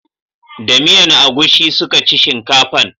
Da miyan agushi suka ci shinkafan